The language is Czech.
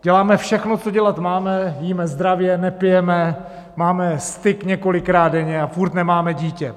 Děláme všechno, co dělat máme - jíme zdravě, nepijeme, máme styk několikrát denně a furt nemáme dítě.